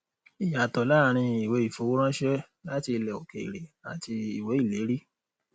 ìyàtọ láàárín ìwé ìfowóránṣẹ láti ilẹ òkèèrè àti ìwé ìlérí